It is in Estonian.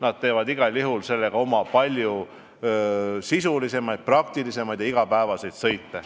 Nad teevad igal juhul sellega palju sisulisemaid ja praktilisemaid igapäevaseid sõite.